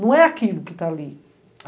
Não é aquilo que está ali.